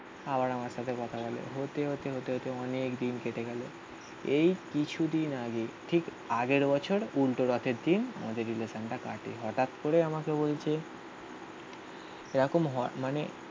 আবার আমার সাথে হতে কথা বলো. হতে হতে অনেকদিন কেটে গেলো. এই কিছুদিন আগে ঠিক আগের বছর উল্টো রথের দিন আমাদের রিলেসান টা কাটে. হঠাৎ করে আমাকে বলছে এরকম হওয়ার মানে